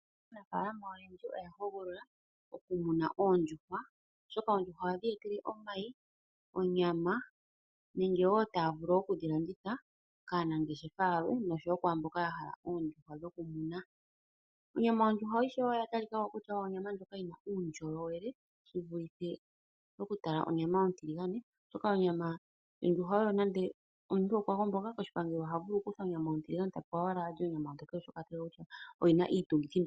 Aanafaalama oyendji oya hogolola okumuna oondjuhwa, oshoka oondjuhwa ohadhi omayi, onyama nenge taya vulu oku dhi landitha kaanangeshefa yalwe nenge kuyalwe mboka ya hala oondjuhwa dhokumuna. Onyama yondjuhwa oya talika ko onga onyama yi na uundjolowele okuyelekanitha nonyama ontiligane, oshoka omuntu uuna a gomboka koshipangelo oha vulu okukuthwa onyama a kale owala ta li onyama onyokele, oshoka iitungithilutu.